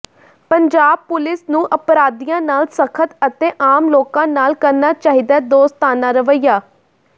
Punjab police ਨੂੰ ਅਪਰਾਧੀਆਂ ਨਾਲ ਸਖ਼ਤ ਅਤੇ ਆਮ ਲੋਕਾਂ ਨਾਲ ਕਰਨਾ ਚਾਹੀਦੈ ਦੋਸਤਾਨਾ ਰਵਈਆ